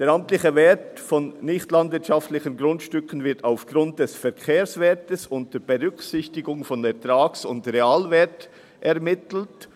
Der amtliche Wert nicht landwirtschaftlicher Grundstücke wird aufgrund des Verkehrswerts unter Berücksichtigung von Ertrags- und Realwert ermittelt.